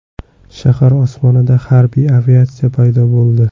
Shahar osmonida harbiy aviatsiya paydo bo‘ldi.